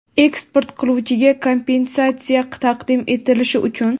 eksport qiluvchiga kompensatsiya taqdim etilishi uchun:.